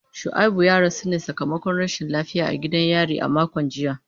Shuaibu ya rasu ne sakamakon rashin lafiya a gidan yari a makon jiya.